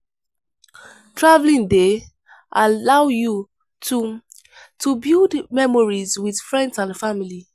Traveling dey allow you to to build memories with friends and family.